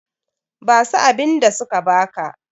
basu abinda suka baka!